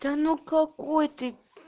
да ну какой ты